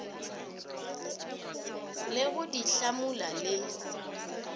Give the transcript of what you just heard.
le go di hlamula le